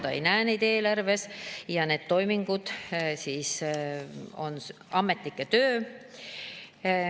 Ta ei näe neid eelarves ja need toimingud on ametnike töö.